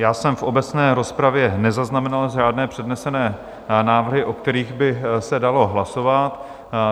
Já jsem v obecné rozpravě nezaznamenal žádné přednesené návrhy, o kterých byl se dalo hlasovat.